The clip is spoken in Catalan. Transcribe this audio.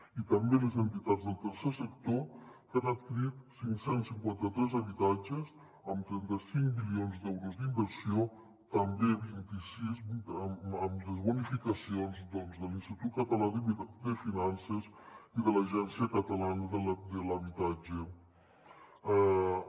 i també les entitats del tercer sector que han adquirit cinc cents i cinquanta tres habitatges amb trenta cinc milions d’euros d’inversió també vint sis amb les bonificacions de l’institut català de finances i de l’agència de l’habitatge de catalunya